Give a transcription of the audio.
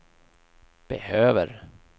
behöver